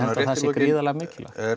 að það sé gríðarlega mikilvægt